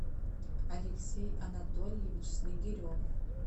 алексей анатольевич снегирев